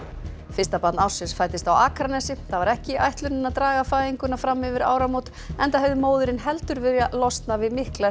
fyrsta barn ársins fæddist á Akranesi það var ekki ætlunin að draga fæðinguna fram yfir áramót enda hefði móðirin heldur viljað losna við mikla